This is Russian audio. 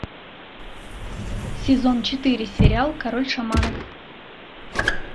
сезон четыре сериал король шаманов